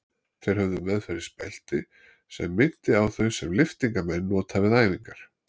Þeir höfðu meðferðis belti sem minnti á þau sem lyftingamenn nota við æfingar.